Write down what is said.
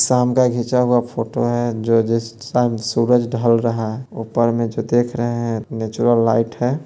शाम का घीचा हुआ फोटो है जो जिस शाम सूरज ढल रहा है ऊपर में जो देख रहे हैं नेचुरल लाइट है।